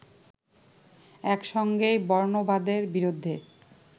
একসঙ্গেই বর্ণবাদের বিরুদ্ধে